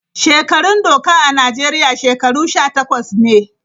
Shekarun doka a Najeriya shekaru Sha takwas ne.